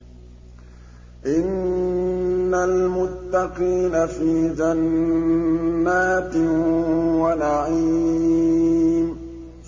إِنَّ الْمُتَّقِينَ فِي جَنَّاتٍ وَنَعِيمٍ